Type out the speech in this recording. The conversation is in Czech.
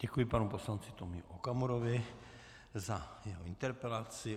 Děkuji panu poslanci Tomiu Okamurovi za jeho interpelaci.